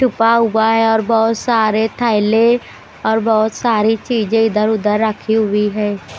सुबह हुआ है और बहोत सारे थैले और बहोत सारी चीजें इधर उधर रखी हुई है।